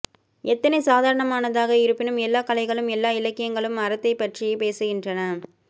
எத்தனை சாதாரணமானதாக இருப்பினும் எல்லா கலைகளும் எல்லா இலக்கியங்களும் அறத்தைப்பற்றியே பேசுகின்றன